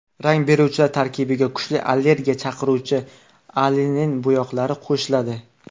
Rang beruvchilar tarkibiga kuchli allergiya chaqiruvchi anilin bo‘yoqlari qo‘shiladi.